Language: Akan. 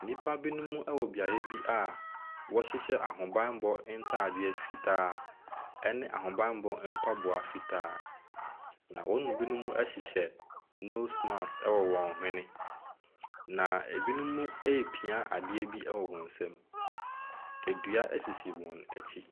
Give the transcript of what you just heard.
Nnipa bi beaeɛ a wɔhyehyɛ ahobanmmɔ ntaadeɛ fitaa, ne ahobanmmɔ ampaboa fitaa. Na wɔn mu bi hyehyɛ nose marsk wɔ wɔn hwene. Na wɔn mu bi repia adeɛ wɔ wɔn nsam. Dua sisi wɔn akyi.